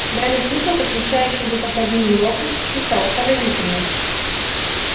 гарри слышал как висящий где-то под ним локонс восклицал поразительно